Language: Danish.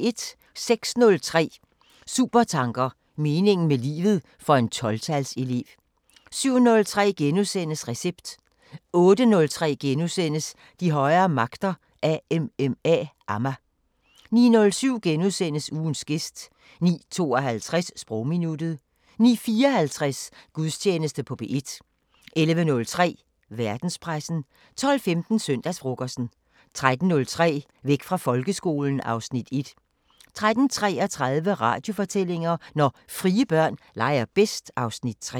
06:03: Supertanker: Meningen med livet – for en 12-tals elev 07:03: Recept * 08:03: De højere magter: AMMA * 09:07: Ugens gæst * 09:52: Sprogminuttet 09:54: Gudstjeneste på P1 11:03: Verdenspressen 12:15: Søndagsfrokosten 13:03: Væk fra folkeskolen (Afs. 1) 13:33: Radiofortællinger: Når frie børn leger bedst (Afs. 3)